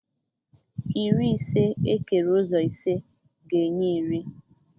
Iri ise ekere ụzọ ise ga-enye iri.